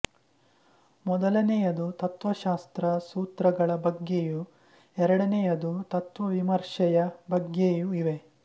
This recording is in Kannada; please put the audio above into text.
ಮೊದಲನೆಯದು ತತ್ತ್ವಶಾಸ್ತ್ರ ಸೂತ್ರಗಳ ಬಗ್ಗೆಯೂ ಎರಡನೆಯದು ತತ್ತ್ವವಿಮರ್ಶೆಯ ಬಗ್ಗೆಯೂ ಇವೆ